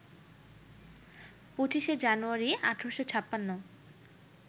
২৫শে জানুয়ারি, ১৮৫৬